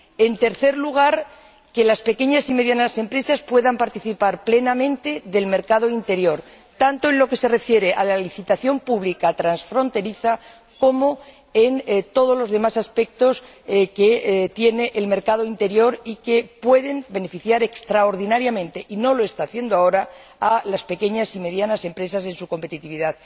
En tercer lugar, que las pequeñas y medianas empresas puedan participar plenamente en el mercado interior, tanto en lo que se refiere a la licitación pública transfronteriza como en todos los demás aspectos que tiene el mercado interior y que pueden beneficiar extraordinariamente y no lo están haciendo ahora a las pequeñas y medianas empresas en su competitividad.